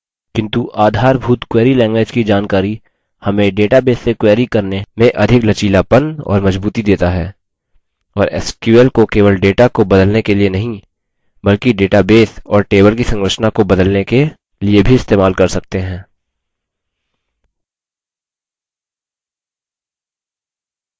किन्तु आधारभूत query language की जानकारी हमें database से query करने में अधिक लचीलापन और मजबूती data है और sql को केवल data को बदलने के लिए नहीं बल्कि database और table की संरचना को बदलने के लिए भी इस्तेमाल कर सकते हैं